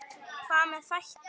Hvað með þætti?